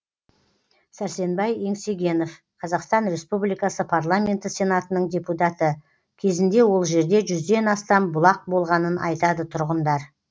сәрсенбай еңсегенов қазақстан республикасы парламенті сенатының депутаты кезінде ол жерде жүзден астам бұлақ болғанын айтады тұрғындар